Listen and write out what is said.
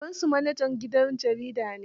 Babansu manajan gidan jarida ne.